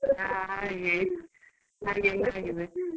ಹಾ ಹಾಗೆ, ಹಾಗೆಯೆಲ್ಲ ಆಗಿದೆ.